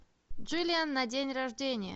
джиллиан на день рождения